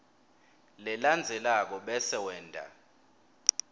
lelandzelako bese wenta